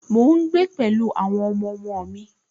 Mò ń gbé pẹ̀lú àwọn ọmọọmọ mi